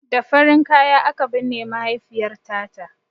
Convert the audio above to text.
Da farin kaya aka binne mahaifiyarta ta